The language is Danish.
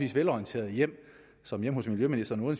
velorienterede hjem som hjemme hos miljøministeren og